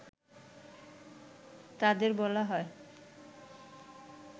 তাদের বলা হয়